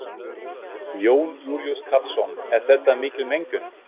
Jón Júlíus Karlsson: Er þetta mikil mengun?